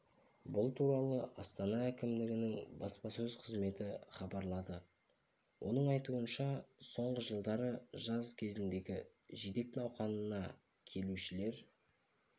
бұл туралы астана әкімдігінің баспасөз қызметі хабарлады оның айтуынша соңғы жылдары жаз кезіндегі жидек науқанында келушілер